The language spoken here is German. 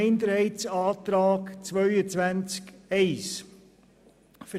Zum Minderheitsantrag zu Artikel 22 Absatz 1: